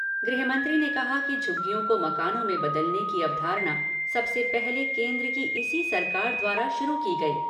गृहमंत्री ने कहा कि झुग्गीयों को मकानों में बदलने की अवधारणा सबसे पहले केन्द्र की इसी सरकार द्वारा शुरू की गई थी।